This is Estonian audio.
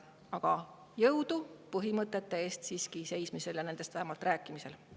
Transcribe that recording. Aga jõudu põhimõtete eest seismisel ja nendest vähemalt rääkimisel!